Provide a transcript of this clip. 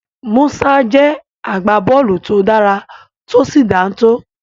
Musa jẹ́ agbábọ́ọ̀lù to dára tó sì dáńtọ́.